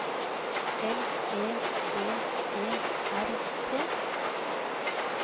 L E V E R T